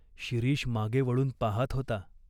शिरीष मागे वळून पाहात होता.